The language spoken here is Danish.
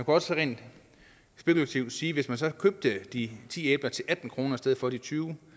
også rent spekulativt sige at hvis man så købte de ti æbler til atten kroner i stedet for de tyve